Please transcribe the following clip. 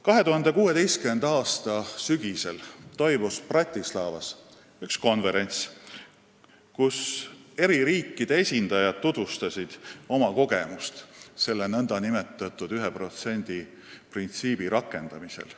2016. aasta sügisel toimus Bratislavas üks konverents, kus eri riikide esindajad tutvustasid oma kogemusi selle nn 1% printsiibi rakendamisel.